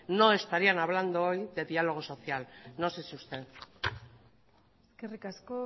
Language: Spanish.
no estarían hablando hoy de diálogo social no sé si usted eskerrik asko